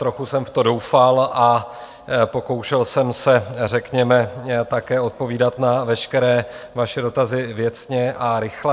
Trochu jsem v to doufal a pokoušel jsem se, řekněme, také odpovídat na veškeré vaše dotazy věcně a rychle.